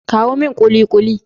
kawo min kulikuli!